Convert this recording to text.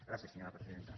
gràcies senyora presidenta